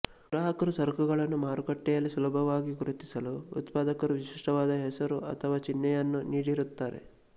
ಗ್ರಾಹಕರು ಸರಕುಗಳನ್ನು ಮಾರುಕಟ್ಟೆಯಲ್ಲಿ ಸುಲಭವಾಗಿ ಗುರುತಿಸಲು ಉತ್ಪಾದಕರು ವಿಶಿಷ್ಟವಾದ ಹೆಸರು ಅಥವಾ ಚಿಹ್ನೆಯನ್ನು ನೀಡಿರುತ್ತಾರೆ